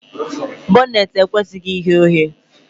Bọneetị ekwesịghị ighe oghe